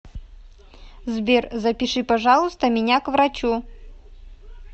сбер запиши пожалуйста меня к врачу